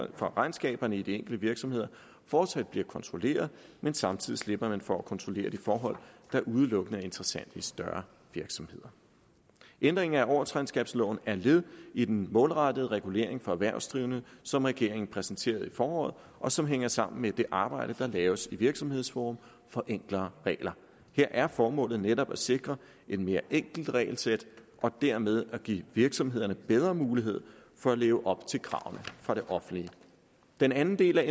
for regnskaberne i de enkelte virksomheder fortsat bliver kontrolleret men samtidig slipper man for at kontrollere de forhold der udelukkende er interessante i større virksomheder ændring af årsregnskabsloven er led i den målrettede regulering for erhvervsdrivende som regeringen præsenterede i foråret og som hænger sammen med det arbejde der laves i virksomhedsforum for enklere regler her er formålet netop at sikre et mere enkelt regelsæt og dermed give virksomhederne bedre mulighed for at leve op til kravene fra det offentlige den anden del